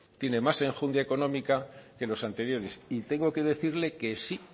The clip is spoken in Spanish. tiene más enjundia económica que los anteriores y tengo que decirle que sí